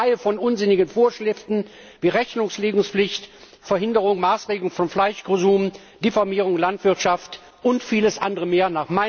Es gibt eine Reihe von unsinnigen Vorschriften, wie Rechnungslegungspflicht, Verhinderung und Maßregelung von Fleischkonsum, Diffamierung der Landwirtschaft und vieles andere mehr.